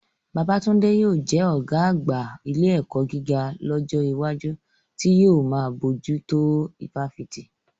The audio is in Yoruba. Babatunde yóò jẹ́ ọ̀gá àgbà ilé ẹ̀kọ́ gíga lọ́jọ́ iwájú, tí yóò máa bójú tó ifáfitì.